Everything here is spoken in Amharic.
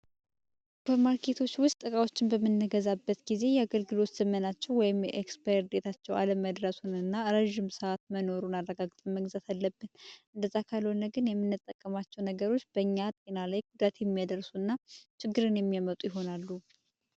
ማርኬቶች ውስጥ ጥቃዎችን በመነገዛበት ጊዜ የአገልግሎወስ ስምናቸው ወይም የኤxስፐርዴታቸው ዓለም መድረሱን እና ረዥም ሰዓት መኖሩን አረጋግጥመግዛት አለብት እንደ ጠካልሆነ ግን የሚነጠቀማቸው ነገሮች በእኛት ግና ላይ ኩድረት የሚያደርሱ እና ችግርን የሚያመጡ ይሆናሉ፡፡